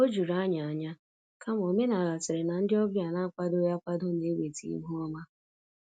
O juru anyị ányá, kama omenala sịrị na ndị ọbịa n'akwadoghị akwado na- eweta ihu ọma.